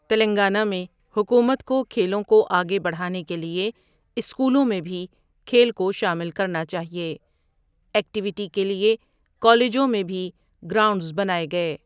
تلنگانہ میں حکومت کو کھیلوں کو آگے بڑھانے کے لیے اسکولوں میں بھی کھیل کو شامل کرنا چاہیے ایکٹیویٹی كے لیے كالجوں میں بھی گراؤنڈس بناۓ گٮٔے.